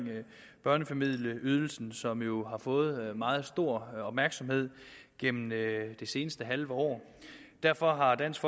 børnefamilieydelsen som jo har fået meget stor opmærksomhed gennem det seneste halve år derfor har dansk